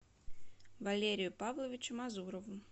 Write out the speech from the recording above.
валерию павловичу мазурову